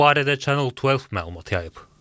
Bu barədə Channel 12 məlumat yayıb.